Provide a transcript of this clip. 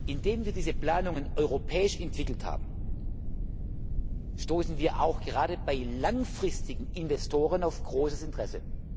Indem wir diese Planungen europäisch entwickelt haben, stoßen wir auch gerade bei langfristigen Investoren auf großes Interesse.